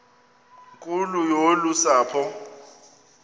nkulu yolu sapho